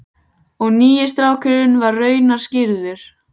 Og nýi strákurinn var raunar skírður.